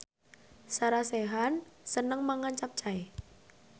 Sarah Sechan seneng mangan capcay